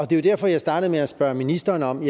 det var derfor jeg startede med at spørge ministeren om